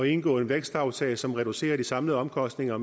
indgå en vækstaftale som reducerer de samlede omkostninger